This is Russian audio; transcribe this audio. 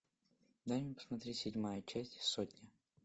дай мне посмотреть седьмая часть сотня